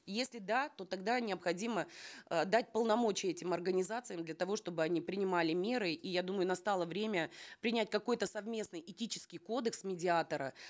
если да то тогда необходимо э дать полномочия этим организациям для того чтобы они принимали меры и я думаю настало время принять какой то совместный этический кодекс медиатора